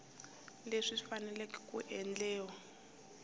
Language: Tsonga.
leswi swi fanele ku endliwa